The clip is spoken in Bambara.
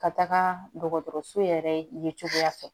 Ka taga dɔgɔtɔrɔso yɛrɛ ye cogoya fɛ